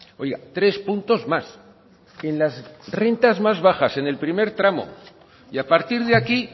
oiga tres puntos más en las rentas más bajas en el primer tramo y a partir de aquí